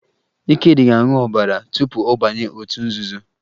Ikedị ga-aṅụ ọbara tupu ọ banye otu nzuzo